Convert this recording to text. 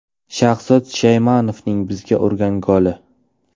Shahzod Shaymanovning bizga urgan goli?